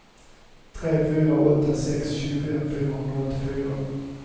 tre fyra åtta sex tjugofem fyrahundraåttiofyra